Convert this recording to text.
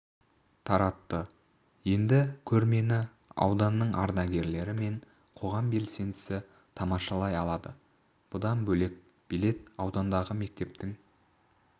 таратты енді көрмені ауданның ардагері мен қоғам белсендісі тамашалай алады бұдан бөлек билет аудандағы мектептің